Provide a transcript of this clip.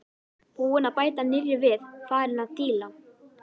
Búinn að bæta nýrri við, farinn að díla.